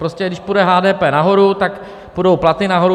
Prostě když půjde HDP nahoru, tak půjdou platy nahoru.